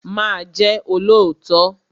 Má Ję olóòtọ́!